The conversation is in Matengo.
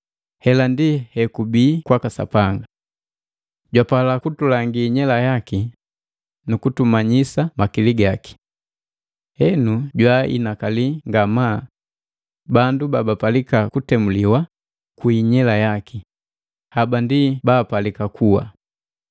Hela ndi hekubii kwaka Sapanga. Jwapala kulangi inyela yaki nu kutumanyisa makili gaki. Henu jwaainakali ngamaa bandu babapalika kutemuliwa kwi inyela yaki, haba ndi baapalika kuwa.